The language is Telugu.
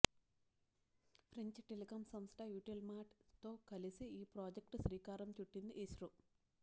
ఫ్రెంచ్ టెలికం సంస్థ యుటెల్శాట్ తో కలిసి ఈ ప్రాజెక్టుకు శ్రీకారం చుట్టింది ఇస్రో